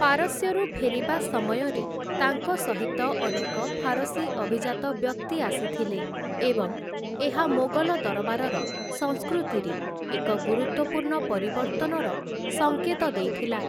ପାରସ୍ୟରୁ ଫେରିବା ସମୟରେ ତାଙ୍କ ସହିତ ଅନେକ ଫାରସୀ ଅଭିଜାତ ବ୍ୟକ୍ତି ଆସିଥିଲେ ଏବଂ ଏହା ମୋଗଲ ଦରବାରର ସଂସ୍କୃତିରେ ଏକ ଗୁରୁତ୍ୱପୂର୍ଣ୍ଣ ପରିବର୍ତ୍ତନର ସଙ୍କେତ ଦେଇଥିଲା ।